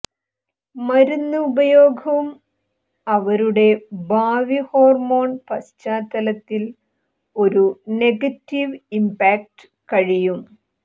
മരുന്ന് ഉപയോഗം അവരുടെ ഭാവി ഹോർമോൺ പശ്ചാത്തലത്തിൽ ഒരു നെഗറ്റീവ് ഇംപാക്ട് കഴിയും